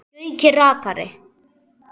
Gaui rakari.